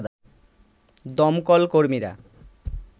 দমকল কর্মীরা